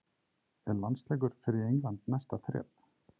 Er landsleikur fyrir England næsta þrep?